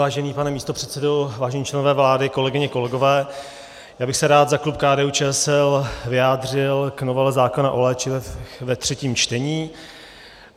Vážený pane místopředsedo, vážení členové vlády, kolegyně, kolegové, já bych se rád za klub KDU-ČSL vyjádřil k novele zákona o léčivech ve třetím čtení.